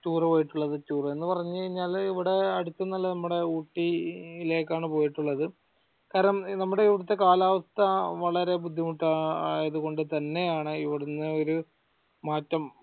tour പോയിട്ടുള്ളത് tour എന്ന പറഞ്ഞ കഴിഞ്ഞാൽ ഇവിടെ അടുത്തൊന്നുമല്ല നമ്മടെ ഊട്ടി ലേക്കാണ് പോയിട്ടുള്ളത് കാരണം നമ്മുടെ ഇവിടെത്തെ കാലാവസ്ഥ വളരെ ബുദ്ധിമുട്ട് ആയതുകൊണ്ട് തന്നെയാണ് ഇവിടുന്ന് ഒരു മാറ്റം